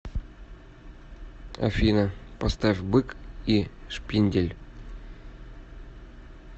афина поставь бык и шпиндель